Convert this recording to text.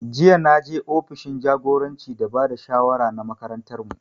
Jiya na je ofishin jagoranci da ba da shawara na makarantar mu